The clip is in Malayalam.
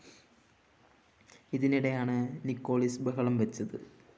ഇതിനിടെയാണ് നിക്കോളിസ് ബഹളം വെച്ചത്